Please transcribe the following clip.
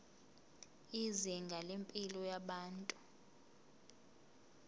izinga lempilo yabantu